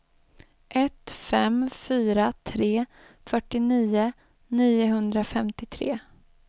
ett fem fyra tre fyrtionio niohundrafemtiotre